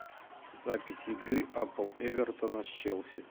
запись игры апл эвертона с челси